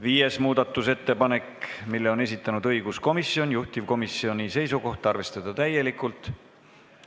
Viienda muudatusettepaneku on esitanud õiguskomisjon, juhtivkomisjoni seisukoht: arvestada seda täielikult.